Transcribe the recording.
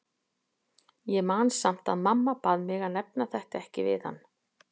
Ég man samt að mamma bað mig að nefna þetta ekki við hann.